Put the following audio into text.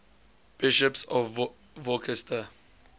bishops of worcester